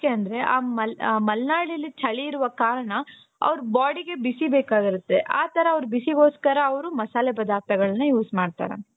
ಯಾಕೆ ಅಂದ್ರೆ ಆ ಮಲ್ನಾಡಲ್ಲಿ ಚಳಿ ಇರುವ ಕಾರಣ ಅವರ bodyಗೆ ಬಿಸಿ ಬೇಕಾಗಿರುತ್ತೆ ಆತರ ಅವರು ಬಿಸಿಗೋಸ್ಕರ ಅವರು ಮಸಾಲೆ ಪದಾರ್ಥಗಳನ್ನ use ಮಾಡ್ತಾರೆ.